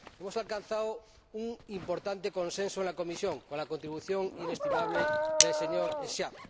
Hemos alcanzado un importante consenso en la comisión con la contribución inestimable del señor Schwab.